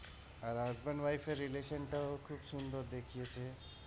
আর husband wife র relation টাও খুব সুন্দর দেখিয়েছে।